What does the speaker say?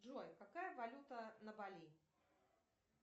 джой какая валюта на бали